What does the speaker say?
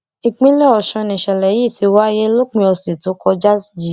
ìpínlẹ ọsùn nìṣẹlẹ yìí ti wáyé lópin ọsẹ tó kọjá yìí